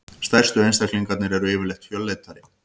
stærstu einstaklingarnir eru yfirleitt fölleitari